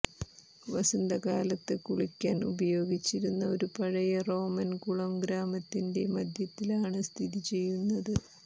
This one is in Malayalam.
വസന്തകാലത്ത് കുളിക്കാൻ ഉപയോഗിച്ചിരുന്ന ഒരു പഴയ റോമൻ കുളം ഗ്രാമത്തിന്റെ മധ്യത്തിലാണ് സ്ഥിതി ചെയ്യുന്നത്